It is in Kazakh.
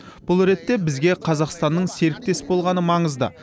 бұл ретте бізге қазақстанның серіктес болғаны маңызды